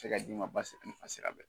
A bɛ se ka di'i ma basi a sira la